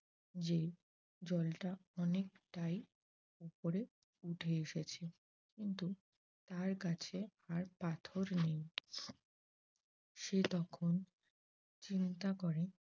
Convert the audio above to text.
যে জলটা অনেকটাই উপরে উঠে এসেছে কিন্তু তার কাছে আর পাথর নেই। সে তখন চিন্তা করে।